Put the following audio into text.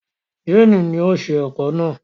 Jane ni o ṣe ẹ̀kọ náà.